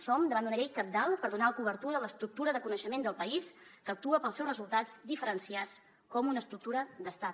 som davant d’una llei cabdal per donar cobertura a l’estructura de coneixement del país que actua pels seus resultats diferenciats com una estructura d’estat